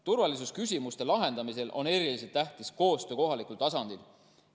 Turvalisusküsimuste lahendamisel on eriliselt tähtis koostöö kohalikul tasandil.